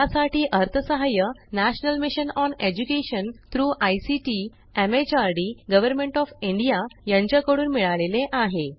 यासाठी अर्थसहाय्य national mission on education through ICT MHRD government of India यांच्याकडून मिळालेले आहे